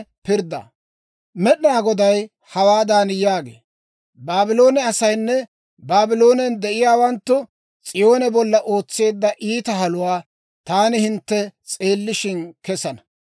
Med'inaa Goday hawaadan yaagee; «Baabloone asaynne Baabloonen de'iyaawanttu S'iyoone bolla ootseedda iitaa haluwaa taani hintte s'eellishshin kessana.